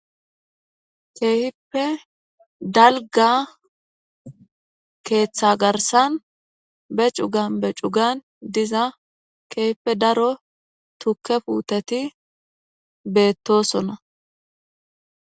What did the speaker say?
Keehipe dalga keeththa garsan be cugan be cugan diza kehfe daro tukke puuteti beettosona.